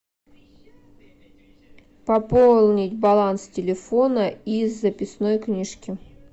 пополнить баланс телефона из записной книжки